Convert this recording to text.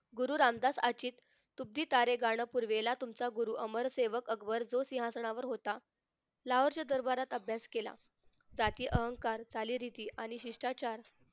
गुरु रामदास अचित तुटते तारे गाणं पूर्वेला तुमचा गुरु अमर सेवक अकबर तो सिंहासनावर होता लाहोरच्या दरभारात अभ्यास केला जाती अहंकार चालीरीती आणि शिष्ठाचार